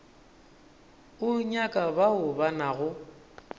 o nyaka bao ba nago